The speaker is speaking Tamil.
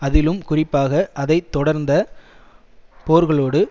அதிலும் குறிப்பாக அதை தொடர்ந்த போர்களோடு